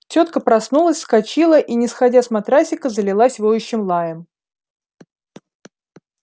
тётка проснулась вскочила и не сходя с матрасика залилась воющим лаем